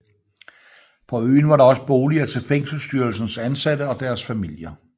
På øen var der også boliger til fængselsstyrelsens ansatte og deres familier